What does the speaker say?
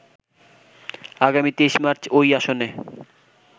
আগামী ২৩ মার্চ ওই আসনে